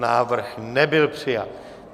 Návrh nebyl přijat.